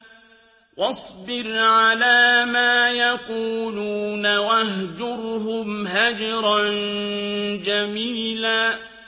وَاصْبِرْ عَلَىٰ مَا يَقُولُونَ وَاهْجُرْهُمْ هَجْرًا جَمِيلًا